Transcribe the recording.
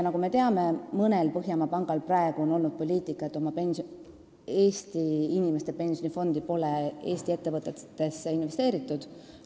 Nagu me teame, mõned Põhjamaade pankadest on seni ajanud poliitikat, et Eesti inimeste pensionifondide raha pole Eesti ettevõtetesse investeeritud.